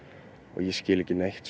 ég skil ekki neitt